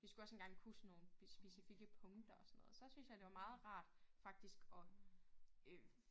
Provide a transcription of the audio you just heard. Vi skulle også engang kunne sådan nogle specifikke punkter og sådan noget. Så syntes jeg det var meget rart faktisk at øh